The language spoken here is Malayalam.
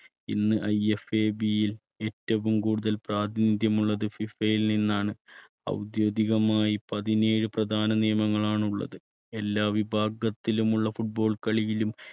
ഇന്ന് IFAB യിൽ ഏറ്റവും കൂടുതൽ പ്രാതിനിധ്യമുള്ളത് ഫിഫയിൽ നിന്നാണ്. ഔദ്യോഗികമായി പതിനേഴ് പ്രധാന നിയമങ്ങളാണുള്ളത് എല്ലാ വിഭാഗത്തിലുമുള്ള football കളിയിലും